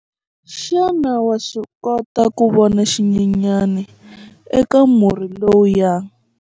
Xana wa swi kota ku vona xinyenyana eka murhi lowuya?